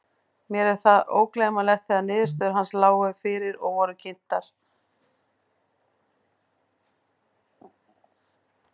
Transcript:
Mér er það ógleymanlegt þegar niðurstöður hans lágu fyrir og voru kynntar.